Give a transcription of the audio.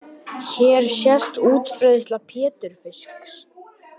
Hér sést útbreiðsla pétursfisks.